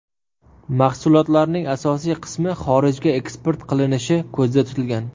Mahsulotlarning asosiy qismi xorijga eksport qilinishi ko‘zda tutilgan.